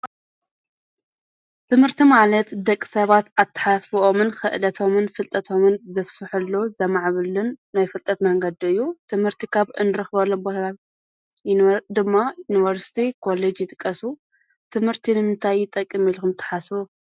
ትምህርቲ ማለት ደቂ ሰባት ኣተሓስስብኦምን፣ ክእለቶምን ፣ፍልጠቶምን ዘስፍሕሉ ዘማዕብልን ናይ ፍልጠት መንገዲ እዩ። ትምህርቲ ኻብ እንርኽበለ ቦታታት ድማ ዩንቨርስቲ፣ ኮለጅ ይጥቀሱ። ትምህርቲ ንምንታይ ይጠቅም ኢልኩም ትሓስቡ?